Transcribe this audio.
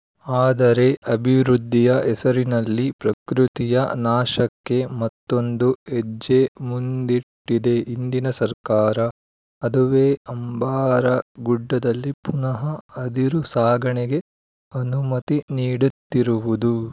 ಆದರೆ ಅಭಿವೃದ್ಧಿಯ ಹೆಸರಿನಲ್ಲಿ ಪ್ರಕೃತಿಯ ನಾಶಕ್ಕೆ ಮತ್ತೊಂದು ಹೆಜ್ಜೆ ಮುಂದಿಟ್ಟಿದೆ ಇಂದಿನ ಸರ್ಕಾರ ಅದುವೇ ಅಂಬಾರಗುಡ್ಡದಲ್ಲಿ ಪುನಃ ಅದಿರು ಸಾಗಣೆಗೆ ಅನುಮತಿ ನೀಡುತ್ತಿರುವುದು